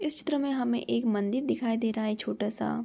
इस चित्र में हमें एक मंदिर दिखाई दे रहा छोटा-सा।